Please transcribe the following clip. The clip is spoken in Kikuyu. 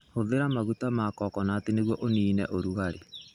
Hũthĩra maguta ma coconut nĩguo ũniine ũrugarĩ.